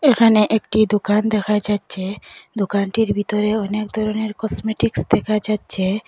এখানে একটি দোকান দেখা যাচ্ছে দোকানটির ভিতরে অনেক ধরণের কসমেটিক্স দেখা যাচ্ছে।